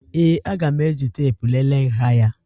Ee, aga m eji teepu lelee nha ya